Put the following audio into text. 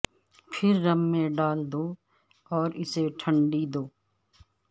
پھر رم میں ڈال دو اور اسے ٹھنڈی دو